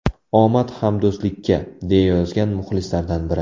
Omad hamdo‘stlikka”, deya yozgan muxlislardan biri.